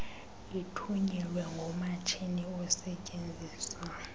ithunyelwe ngomatshini osetyenziswa